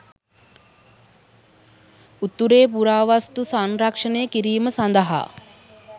උතුරේ පුරාවස්තු සංරක්‍ෂණය කිරීම සඳහා